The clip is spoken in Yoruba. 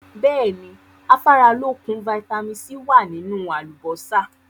Bẹ́ẹ̀ni, Afáralókun "Vitamin C" wá nínú àlùbósà.